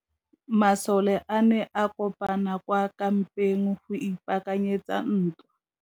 Masole a ne a kopane kwa kampeng go ipaakanyetsa ntwa.